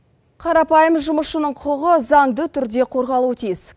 қарапайым жұмысшының құқығы заңды түрде қорғалуы тиіс